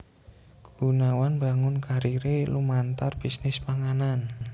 Gunawan mbangun kariré lumantar bisnis panganan